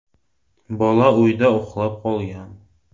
Bola uyda uxlab qolgan.